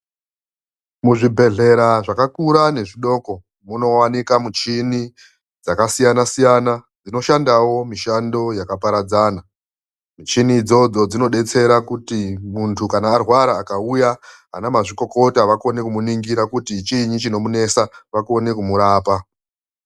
Muzvibhedhlera zvakakura nezvidoko munowanika muchini dzakasiyana-siyana dzinoshandawo mishando yakaparadzana. Michini idzodzo dzinodetsera kuti muntu kana arwara akauya, ana mazvikokota vakone kumuningira kuti chiinyi chinomunesa vakone kumurapa.